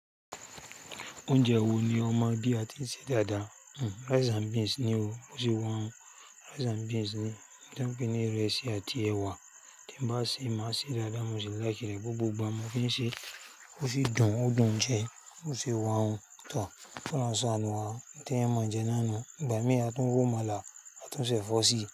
Oúnjẹ wo ni ọ mọ bí a tí ń sè dáadáa? Rice and beans ni o. Mo sì wá un rice and beans ni. Èyí tí wọ́n pè ní ìrẹsì àti ẹwà tí n bá sì máa sè é dáadáa. Mo sì like re gbogbo ìgbà mo fi ń ṣe. Ó si dùn, ó dùn jẹ, ó si wá hun. Tó kí Olórun ṣánù wá, n tí ẹ̀eyan mọ̀ n jẹ náà nu, ìgbà mí a tún ró àmàlà a tún ṣẹ̀ ẹ̀fọ́ sí.